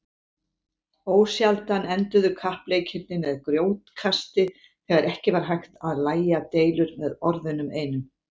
Ósjaldan enduðu kappleikirnir með grjótkasti þegar ekki var hægt að lægja deilur með orðunum einum.